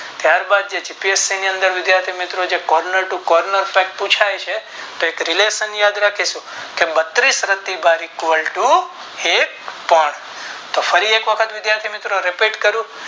ત્યાર બાદ GPSC ની અંદર વિધાથી મિત્રો Corner to corner pack પુછાય છે કાયક relation યાદ રાખીશું કે તો ફરી એક વખત વિદ્યાર્થી મિત્રો Repeat કરું